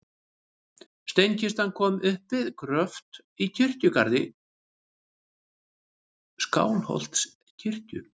Steinkistan kom upp við gröft í kirkjugarði Skálholtskirkju.